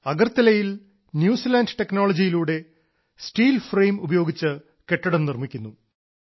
അഗർത്തലയിൽ New Zealand ടെക്നോളജിയിലൂടെ steel frame ഉപയോഗിച്ച് കെട്ടിടം നിർമിക്കുന്നു